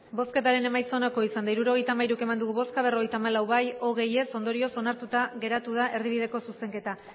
bosketaren emaitza onako izan da hirurogeita hamairu eman dugu bozka berrogeita hamalau bai hogei ez ondorioz onartuta geratu da erdibideko zuzenketa